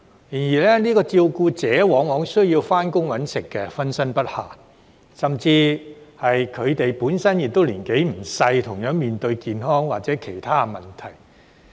然而，這些照顧者往往需要上班謀生，分身不暇，甚至是他們本身亦年紀不輕，同樣面對健康或其他問題。